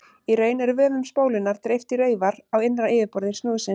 Í raun er vöfum spólunnar dreift í raufar á innra yfirborði snúðsins.